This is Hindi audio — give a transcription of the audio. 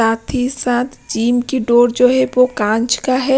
साथ ही साथ जिम की डोर जो है वो कांच का है।